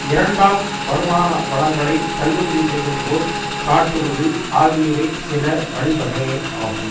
இரண்டாம் வருமான வளங்களை தள்ளுபடி செய்வது போல் காட்டுவது ஆகியவை சில வழிவகைகளாகும்